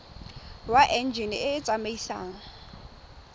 wa enjine e e tsamaisang